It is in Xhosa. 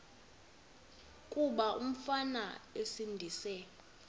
kuba umfana esindise